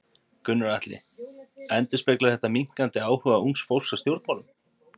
Gunnar Atli: Endurspeglar þetta minnkandi áhuga ungs fólks á stjórnmálum?